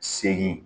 Segin